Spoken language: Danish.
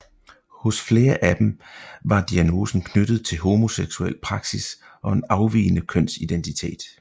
Hos flere af dem var diagnosen knyttet til homoseksuel praksis og en afvigende kønsidentitet